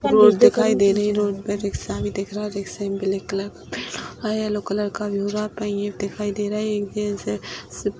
road दिखाई दे रही है रोड पे रिक्शा भी दिख रहा है रिक्शा में ब्लैक कलर और येल्लो कलर का दिखाई दे रहा है --